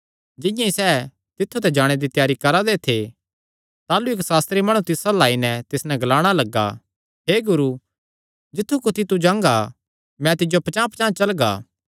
जिंआं ई सैह़ तित्थु ते जाणे दे त्यारी करा दे थे ताह़लू इक्क सास्त्री माणु तिस अल्ल आई नैं तिस नैं ग्लाणा लग्गा हे गुरू जित्थु कुत्थी तू जांगा मैं तिज्जो पचांह़पचांह़ चलगा